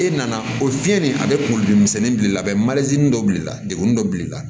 E nana o fiyɛli a bɛ kunkolodimisɛnnin bil'i la dɔ bil'i la degun dɔ bil'i la